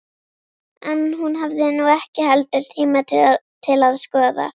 En hún hafði nú ekki heldur tíma til að skoða